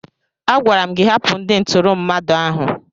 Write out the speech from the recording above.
Agwara m gị hapụ ndị ntụrụ mmadụ ahụ!